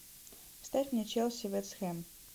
ставь мне челси вест хэм